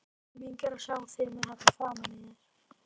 Skelfing er að sjá þig með þetta framan í þér!